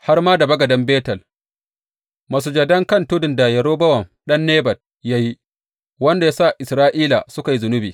Har ma da bagaden Betel, masujadan kan tudun da Yerobowam ɗan Nebat ya yi, wanda ya sa Isra’ila suka yi zunubi.